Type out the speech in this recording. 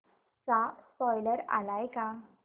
चा स्पोईलर आलाय का